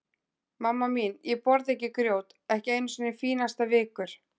Mamma mín, ég borða ekki grjót, ekki einu sinni fínasta vikur.